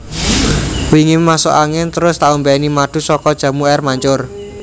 Wingi masuk angin trus tak ombeni madu soko Jamu Air Mancur